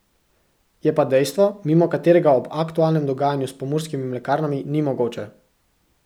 Je pa dejstvo, mimo katerega ob aktualnem dogajanju s Pomurskimi mlekarnami ni mogoče.